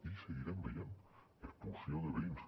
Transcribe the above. i seguirem veient expulsió de veïns